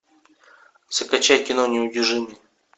закачай кино неудержимые